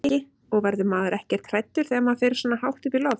Breki: Og verður maður ekkert hræddur þegar maður fer svona hátt upp í loft?